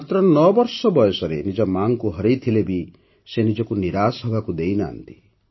ମାତ୍ର ନଅବର୍ଷ ବୟସରେ ନିଜ ମାକୁ ହରେଇଥିଲେ ବି ସେ ନିଜକୁ ନିରାଶ ହେବାକୁ ଦେଇନାହାଁନ୍ତି